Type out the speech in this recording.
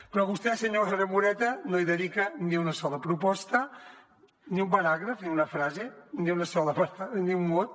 però vostè senyora moreta no hi dedica ni una sola proposta ni un paràgraf ni una frase ni un mot